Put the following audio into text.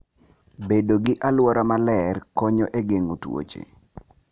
Bedo gi alwora maler konyo e geng'o tuoche.